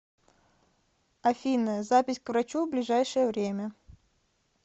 афина запись к врачу в ближайшее время